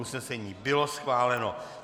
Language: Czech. Usnesení bylo schváleno.